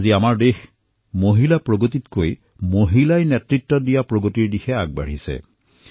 আজি দেশত মহিলা বিকাশৰ পৰা আগবাঢ়ি মহিলানেতৃত্ব উত্তৰণৰ দিশে আগবাঢ়ি আছে